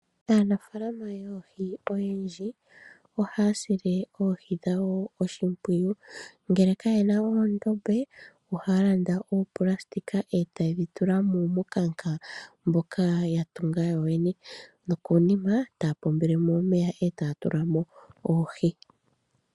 Aanafalama oyendji ohaya sile oohi dhawo oshipwiyu ngele Kaye namo oondombe ohaya landa ooplastic etayedhi tulwa mominkanka dhoka yatunga yoyene nokonima ohaya pombele mo omeya etaya tula mo oohi.